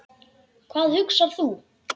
Hvað hugsar þú?